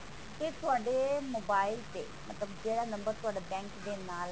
ਤੇ ਤੁਹਾਡੇ mobile ਤੇ ਮਤਲਬ ਜਿਹੜਾ ਨੰਬਰ ਤੁਹਾਡਾ bank ਦੇ ਨਾਲ